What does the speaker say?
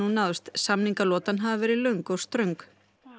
náðst samningalotan hafi verið löng og ströng